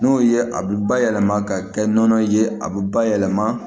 N'o ye a bɛ bayɛlɛma ka kɛ nɔnɔ ye a bɛ bayɛlɛma